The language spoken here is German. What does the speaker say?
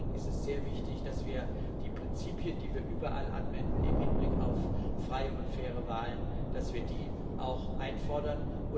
Deswegen ist es sehr wichtig, dass wir die Prinzipien, die wir überall im Hinblick auf freie und faire Wahlen anwenden, auch einfordern.